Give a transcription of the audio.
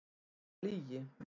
Það var lygi.